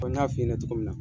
n y'a f'i ɲɛnɛ cogo min na.